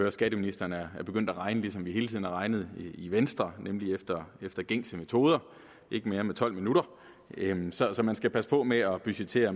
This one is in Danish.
at skatteministeren er begyndt at regne som vi hele tiden har regnet i venstre nemlig efter efter gængse metoder ikke mere med tolv minutter så så man skal passe på med at budgettere